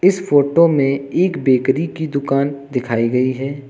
इस फोटो में एक बेकरी की दुकान दिखाई गई है।